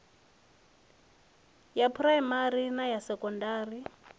ya phuraimari na ya sekondari